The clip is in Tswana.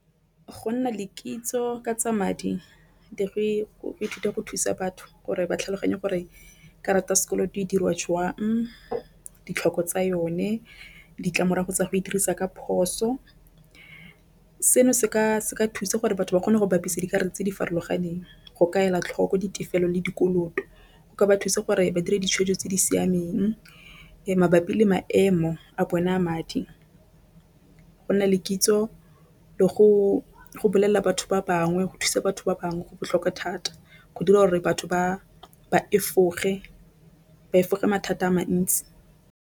Go nna le kitso ka tsa madi le go ithuta go thusa batho gore ba tlhaloganye gore karata sekolo di dirwa jwang ditlhoko tsa yone. Ditlamorago tsa go e dirisa ka phoso seno se ka thusa gore batho ba kgone go bapisa dikarolo tse di farologaneng. Go ka ela tlhoko ditefelelo le dikoloto o ka ba thusa gore ba dira ditshwetso tse di siameng mabapi le maemo a bone a madi. Go nna le kitso le go bolelela batho ba bangwe go thusa batho ba bangwe go botlhokwa thata go dira gore batho ba ba efoge mathata a mantsi.